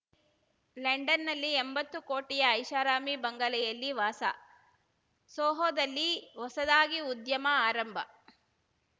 ಲಂಡನ್‌ನಲ್ಲಿ ಎಂಬತ್ತು ಕೋಟಿಯ ಐಷಾರಾಮಿ ಬಂಗಲೆಯಲ್ಲಿ ವಾಸ ಸೋಹೊದಲ್ಲಿ ಹೊಸದಾಗಿ ಉದ್ಯಮ ಆರಂಭ